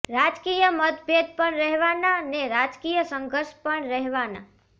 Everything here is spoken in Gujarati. રાજકીય મતભેદ પણ રહેવાના ને રાજકીય સંઘર્ષ પણ રહેવાના